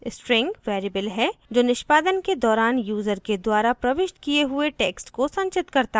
string variable है जो निष्पादन के दौरान यूज़र के द्वारा प्रविष्ट किये हुए text को संचित करता है